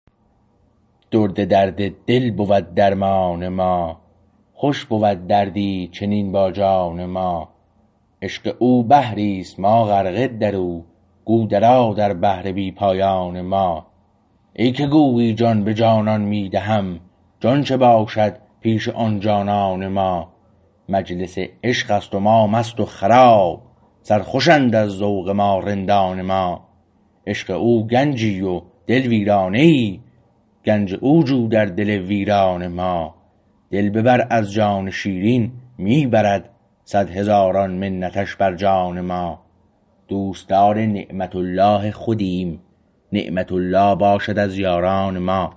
درد درد دل بود درمان ما خوش بود دردی چنین با جان ما عشق او بحریست ما غرقه در او گو درآ در بحر بی پایان ما ای که گویی جان به جانان می دهم جان چه باشد پیش آن جانان ما مجلس عشقست و ما مست و خراب سر خوشند از ذوق ما رندان ما عشق او گنجی و دل ویرانه ای گنج او جو در دل ویران ما دل ببر از جان شیرین می برد صد هزاران منتش بر جان ما دوستدار نعمت الله خودیم نعمت الله باشد از یاران ما